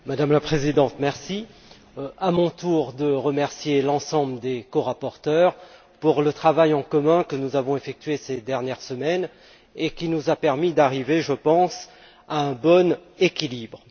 Madame la Présidente, à mon tour de remercier l'ensemble des corapporteurs pour le travail en commun que nous avons effectué ces dernières semaines et qui nous a permis d'arriver, je pense, à un bon équilibre.